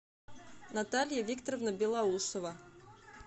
наталья викторовна белоусова